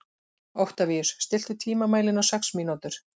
Oktavíus, stilltu tímamælinn á sex mínútur.